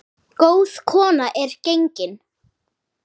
Góð kona er gengin.